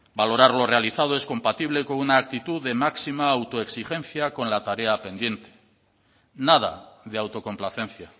valorar lo realizado es compatible con una actitud de máxima autoexigencia con la tarea pendiente nada de autocomplacencia